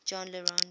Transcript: jean le rond